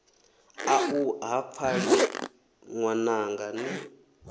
aṋu ha pfali ṅwananga ni